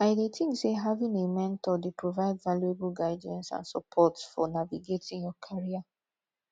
i dey think say having a mentor dey provide valuable guidance and support fo navigating your career